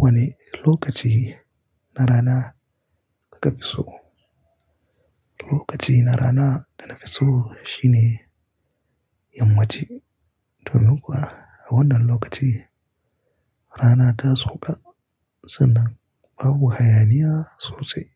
Wane lokaci na rana kuka fi so? Lokaci na rana da na fi so shine yammace. Domin kuwa a wannan lokaci rana ta sauka sannan babu hayaniya sosai.